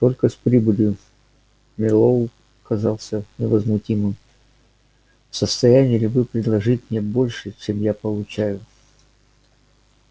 только с прибылью мэллоу казался невозмутимым в состоянии ли вы предложить мне больше чем я получаю